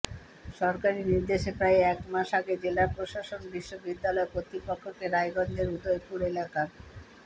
সরকারি নির্দেশে প্রায় এক মাস আগে জেলা প্রশাসন বিশ্ববিদ্যালয় কর্তৃপক্ষকে রায়গঞ্জের উদয়পুর এলাকার